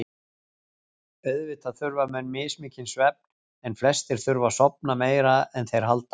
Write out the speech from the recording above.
Auðvitað þurfa menn mismikinn svefn en flestir þurfa að sofa meira en þeir halda.